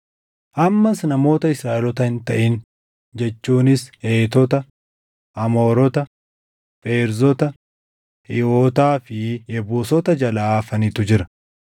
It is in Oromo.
Ammas namoota Israaʼeloota hin taʼin jechuunis Heetota, Amoorota, Feerzota, Hiiwotaa fi Yebuusota jalaa hafanitu jira.